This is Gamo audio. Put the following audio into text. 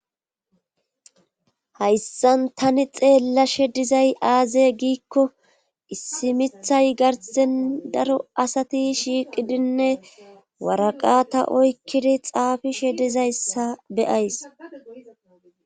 Hayssan tani xeellashe dizay aaze giikko issimithay garsen daro asati shiiqidinne waraqata oykkidi xaafishe dizayssa beyays.